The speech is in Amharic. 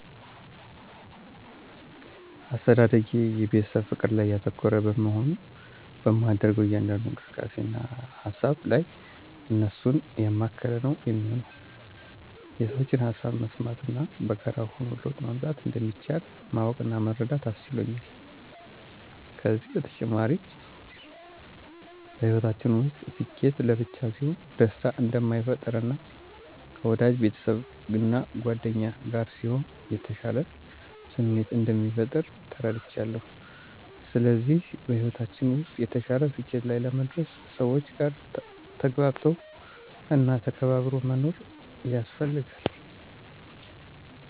አስተዳደጌ የቤተሰብ ፍቅር ላይ ያተኮረ በመሆኑ በማደርገው እያንዳንዱ እንቅስቃሴ እና ሃሳብ ላይ እነሱን ያማከለ ነው የሚሆነው። የሠዎችን ሃሳብ መስማት እና በጋራ ሆኖ ለውጥ ማምጣት እንደሚቻል ማወቅ እና መረዳት አስችሎኛል። ከዚም በተጨማሪ በሕይወታችን ውስጥ ስኬት ለብቻ ሲሆን ደስታ እንደማይፈጥር እና ከወዳጅ ቤተሰብ እና ጉአደኛ ጋር ሲሆን የተሻለ ስሜት እንደሚፈጥር ተረድቻለው። ስለዚህ በሕይወታችን ውስጥ የተሻለ ስኬት ላይ ለመድረስ ሰዎች ጋር ተግባብቶ እና ተከባብሮ መኖር ያስፈልጋል።